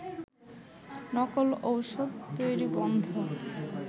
নকল ওষুধ তৈরি বন্ধ